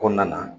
Kɔnɔna na